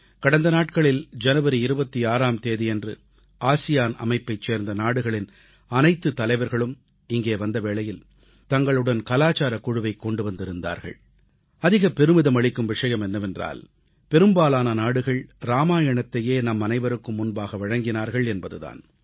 கடந்த நாட்களில் ஜனவரி 26ஆம் தேதியன்று ஆசியான் அமைப்பைச் சேர்ந்த நாடுகளின் அனைத்து தலைவர்களும் இங்கே வந்த வேளையில் தங்களுடன் கலாசாரக் குழுவைக் கொண்டு வந்திருந்தார்கள் அதிக பெருமிதமளிக்கும் விஷயம் என்னவென்றால் பெரும்பாலான நாடுகள் ராமாயணத்தையே நம் அனைவருக்கும் முன்பாக வழங்கினார்கள் என்பது தான்